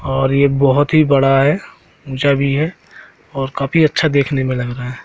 और ये बहोत ही बड़ा है ऊंचा भी है और काफी अच्छा देखने में लग रहा है।